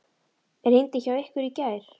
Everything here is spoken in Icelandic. Rigndi hjá ykkur í gær?